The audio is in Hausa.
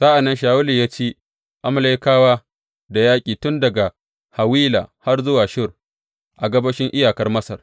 Sa’an nan Shawulu ya ci Amalekawa da yaƙi tun daga Hawila har zuwa Shur, a gabashin iyakar Masar.